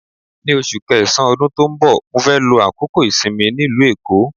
Ní oṣù kẹsàn-án ọdún tó ń bọ̀, mó fẹ́ lo àkókò ìsinmi mi nílùú Èkó.